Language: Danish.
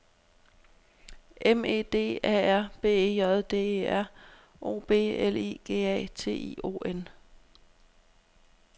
M E D A R B E J D E R O B L I G A T I O N